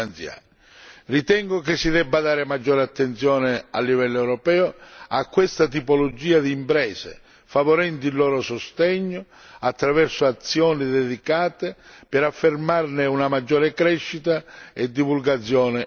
Ritengo che si debba prestare maggiore attenzione a livello europeo a questa tipologia di imprese, favorendone il sostegno attraverso azioni dedicate per affermarne una maggiore crescita e divulgazione in Europa.